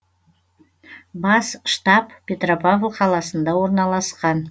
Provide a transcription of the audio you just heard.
бас штаб петропавл қаласында орналасқан